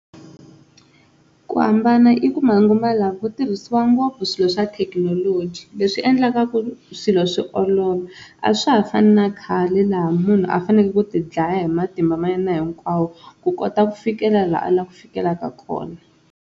Ku hambana i ku manguva lawa ku tirhisiwa ngopfu swilo swa thekinoloji leswi endlaka ku swilo swi olova a swa ha fani na khale laha munhu a faneleke ku tidlaya hi matimba ma yena hinkwawo ku kota ku fikela la a lava ku fikelaka kona.